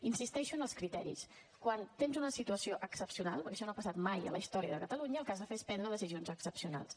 insisteixo en els criteris quan tens una situació excepcional perquè això no ha passat mai a la història de catalunya el que has de fer és prendre decisions excepcionals